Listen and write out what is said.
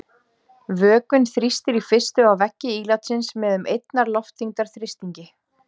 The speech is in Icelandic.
Vökvinn þrýstir í fyrstu á veggi ílátsins með um einnar loftþyngdar þrýstingi.